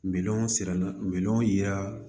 Miliyɔn siran minɛnw yira